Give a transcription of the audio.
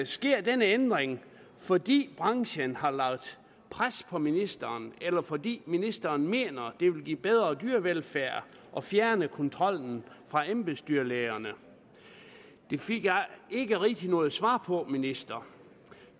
sker denne ændring fordi branchen har lagt pres på ministeren eller fordi ministeren mener at det vil give bedre dyrevelfærd at fjerne kontrollen fra embedsdyrlægerne det fik jeg ikke rigtig noget svar på ministeren